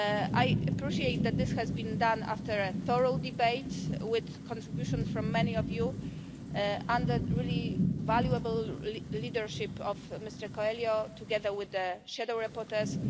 I appreciate that this has been done after a thorough debate with contributions from many of you, under the really valuable leadership of Mr Coelho, together with the shadow rapporteurs.